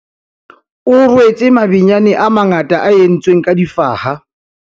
o rwetse mabenyane a mangata a entsweng ka difaha